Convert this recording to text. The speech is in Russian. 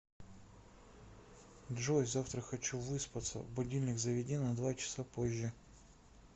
джой завтра хочу выспаться будильник заведи на два часа позже